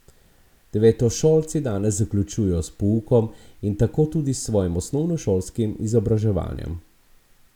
Devetošolci danes zaključujejo s poukom in tako tudi s svojim osnovnošolskim izobraževanjem.